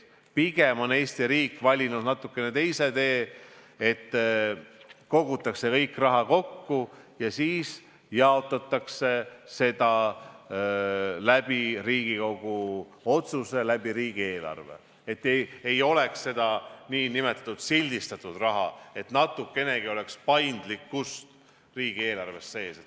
Pigem on Eesti riik valinud natuke teise tee, et kogutakse kogu raha kokku ja siis jaotatakse seda Riigikogu otsusega riigieelarve kaudu, et ei oleks seda nn sildistatud raha, et natukenegi oleks paindlikkust riigieelarves.